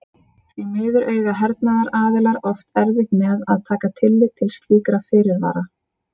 Því miður eiga hernaðaraðilar oft erfitt með að taka tillit til slíkra fyrirvara.